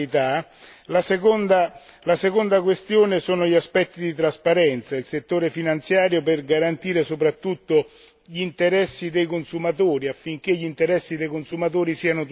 la seconda questione sono gli aspetti di trasparenza il settore finanziario deve garantire soprattutto gli interessi dei consumatori, affinché gli interessi dei consumatori siano tutelati.